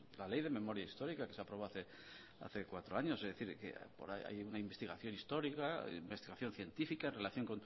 la ley de memoria histórica que se aprobó hace cuatro años es decir que por ahí hay una investigación histórica una investigación científica en relación